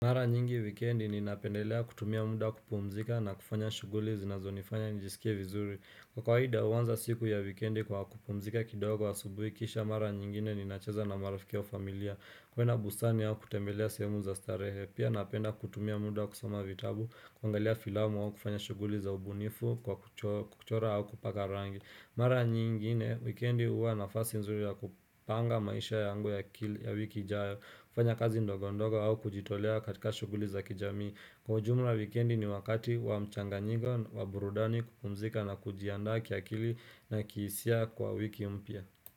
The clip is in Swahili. Mara nyingi wikendi ninapendelea kutumia muda kupumzika na kufanya shughuli zinazonifanya nijisikie vizuri. Kwa kawaida huanza siku ya wikendi kwa kupumzika kidogo asubuhi kisha mara nyingine ninacheza na marafiki wa familia. Kwenda bustani au kutembelea sehemu za starehe Pia napenda kutumia muda kusoma vitabu, kuangalia filamu au kufanya shughuli za ubunifu kwa kuchora au kupaka rangi. Mara nyingine wikendi huwa nafasi nzuri ya kupanga maisha yangu ya wiki jayo kufanya kazi ndogo ndogo au kujitolea katika shughuli za kijami Kwa jumla wikendi ni wakati wa mchanganyiko wa burudani kupumzika na kujiandaa kiakili na kihisia kwa wiki mpya.